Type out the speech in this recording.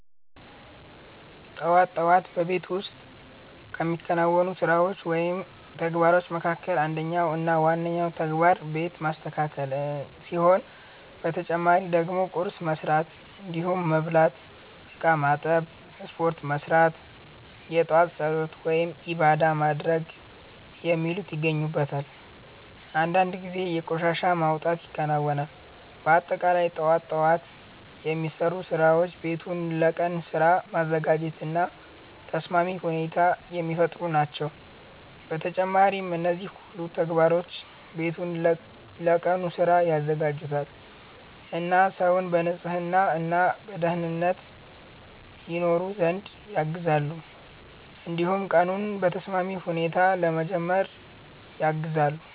ጠዋት ጠዋት በቤት ውስጥ ከሚከናወኑ ስራዎች ወይም ተግባሮች መካከል አንደኛው እና ዋነኛው ተግባር ቤት ማስተካከል ሲሆን በተጨማሪ ደግሞ ቁርስ መስራት እንዲሁም መብላት፣ እቃ ማጠብ፣ ስፖርት መስራት፣ የጧት ፀሎት(ዒባዳ) ማድረግ የሚሉት ይገኙበታል። አንዳንድ ጊዜ የቆሻሻ መውጣት ይከናወናል። በአጠቃላይ ጠዋት ጠዋት የሚሰሩ ስራዎች ቤቱን ለቀኑ ስራ ማዘጋጀት እና ተስማሚ ሁኔታ የሚፈጥሩ ናቸው። በተጨማሪም እነዚህ ሁሉ ተግባሮች ቤቱን ለቀኑ ስራ ያዘጋጁታል እና ሰውን በንጽህና እና በደኅንነት ይኖር ዘንድ ያግዛሉ። እንዲሁም ቀኑን በተስማሚ ሁኔታ ለመጀመር ያግዛሉ።